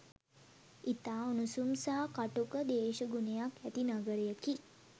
ඉතා උණුසුම් සහ කටුක දේශගුණයක් ඇති නගරයකි